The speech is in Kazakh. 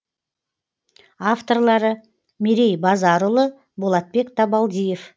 авторлары мерей базарұлы болатбек табалдиев